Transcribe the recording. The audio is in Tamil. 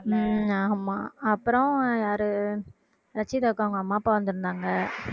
ஹம் ஆமா அப்புறம் யாரு ரட்ஷிதாக்கு அவங்க அம்மா அப்பா வந்திருந்தாங்க